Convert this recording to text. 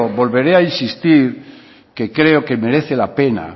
volveré a insistir que creo que merece la pena